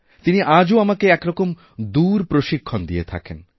তিনি আজও আমাকে একরকমদূরপ্রশিক্ষণ দিয়ে থাকেন